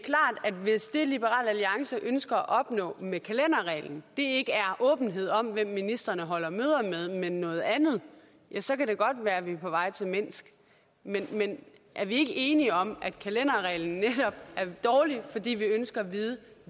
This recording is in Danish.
at hvis det liberal alliance ønsker at opnå med kalenderreglen ikke er åbenhed om hvem ministrene holder møder med men noget andet så kan det godt være at vi er på vej til minsk men men er vi ikke enige om at kalenderreglen netop er dårlig fordi vi ønsker at vide